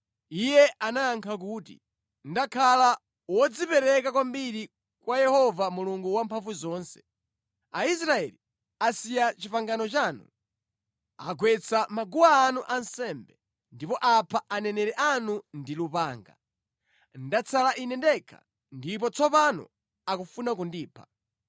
Iye anayankha kuti, “Ndakhala wodzipereka kwambiri kwa Yehova Mulungu Wamphamvuzonse. Aisraeli asiya pangano lanu, agwetsa maguwa anu ansembe, ndipo apha aneneri anu ndi lupanga. Ndatsala ine ndekha ndipo tsopano akufuna kundipha.”